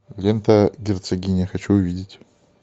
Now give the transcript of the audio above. лента герцогиня хочу увидеть